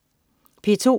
P2: